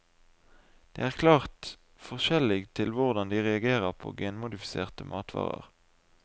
Det er klart forskjellig til hvordan de reagerer på genmodifiserte matvarer.